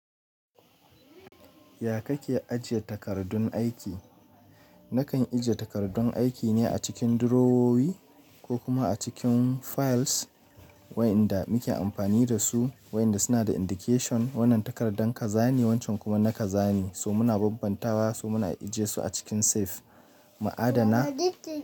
Ya kake ajiye takardun aiki? Nakan ajiye takardun aiki ne a cikin durowowi ko kuma a cikin files waɗanda muke amfani da su, waɗanda suna da indication. Wannan takardan ka zane, wancan kuma na ka zane. So! Muna bambantawa, so muna ajiye su a cikin safe. Ma'adana.